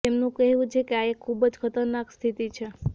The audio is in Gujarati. તેમનું કહેવું છે કે આ એક ખૂબ જ ખતરનાક સ્થિતિ છે